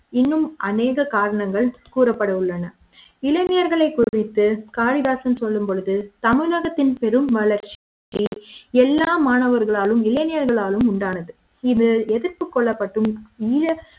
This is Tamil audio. இன்னும் அநேக காரணங்கள் கூறப்பட்டுள்ளன இளைஞர்களை குறித்து காளிதாசன் சொல்லும் பொழுது தமிழகத்தின் பெரும் வளர்ச்சி எல்லா மாணவர்களும் இளைஞர்களும் உண்டானது இது எதிர்ப்பு கொல்லப்பட்டும் நீங்க